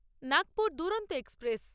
Nagpur Duronto express